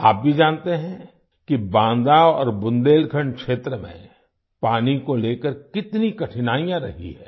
आप भी जानते हैं कि बांदा और बुंदेलखंड क्षेत्र में पानी को लेकर कितनी कठिनाईयाँ रही हैं